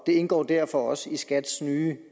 indgår derfor også i skats nye